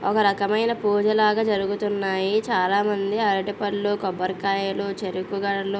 ఒక రకమైన పూజ లాగ జరుగుతున్నాయి చాల మంది అరటిపళ్ళు కొబ్బరికాయలు చెరుకు గడలు --